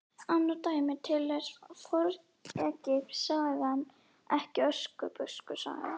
Annað dæmi: Til er fornegypsk saga- ekki Öskubuskusaga